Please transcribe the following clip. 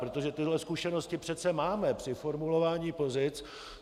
Protože tyhle zkušenosti přece máme při formulování pozic.